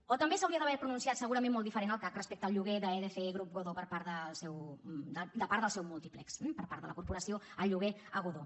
o també s’hauria d’haver pronunciat segurament molt diferentment el cac respecte al lloguer d’edc grup godó de part del seu múltiplex eh per part de la corporació el lloguer a godó